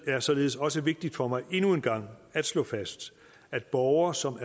er således også vigtigt for mig endnu en gang at slå fast at borgere som